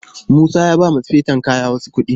Musa ya baiwa sufeton kaya wasu kuɗi.